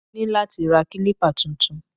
Mo ní láti ra kílípà tuntun